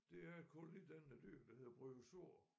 Det er kun i den dyr der hedder bryozoa